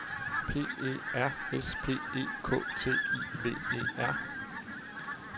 P E R S P E K T I V E R